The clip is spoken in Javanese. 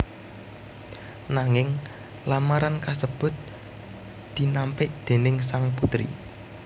Nanging lamaran kasebut dinampik déning sang putri